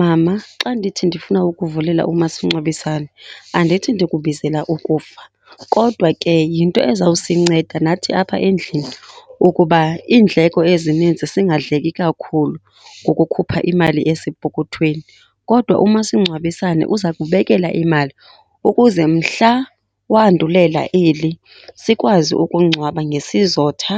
Mama, xa ndithi ndifuna ukuvulela umasingcwabisane andithi ndikubizela ukufa, kodwa ke yinto ezawusinceda nathi apha endlini ukuba iindleko ezininzi singadleki kakhulu ngokukhupha imali esepokothweni. Kodwa umasingcwabisane uza kubekela imali ukuze mhla wandulela eli sikwazi ukungcwaba ngesizotha